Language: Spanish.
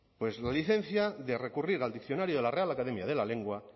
la licencia de recurrir al diccionario de la real academia de la lengua